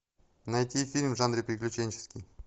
найти фильм в жанре приключенческий